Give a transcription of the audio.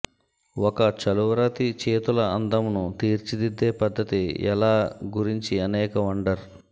ఒక చలువరాతి చేతుల అందమును తీర్చిదిద్దే పద్ధతి ఎలా గురించి అనేక వండర్